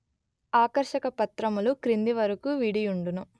ఆకర్షక పత్రములు క్రిందివరకు విడియుండును